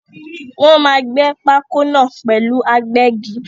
Wọ́n máa gbé pákó náà pẹ̀lú agbẹ́gi.